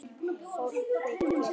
Fólk byggir.